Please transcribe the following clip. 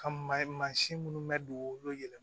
Ka maasin minnu bɛ dugu olu yɛlɛ